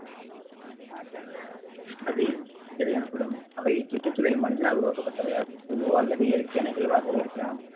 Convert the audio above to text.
அது இடர் எனப்படும் அவை இச்சுற்றுச்சூழலில் மனிதனால் உருவாக்கப்பட்டவையாகவோ அல்லது இயற்கை நிகழ்வாகவோ இருக்கலாம்